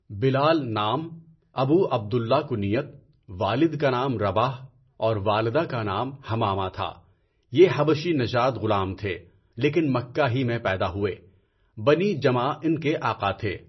بلال نام، Abu Abdullah کنیت، والد کا نام رَباح اور والدہ کا نام حمامہ تھا۔ یہ حبشی نژاد غلام تھے لیکن مکہ ہی میں پیدا ہوئے، بنی جمح ان کے آقا تھے۔